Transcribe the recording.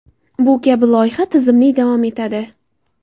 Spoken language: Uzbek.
Bu kabi loyiha tizimli davom etadi.